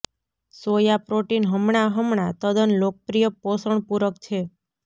soya protein હમણાં હમણાં તદ્દન લોકપ્રિય પોષણ પૂરક છે